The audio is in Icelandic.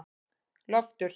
Loftur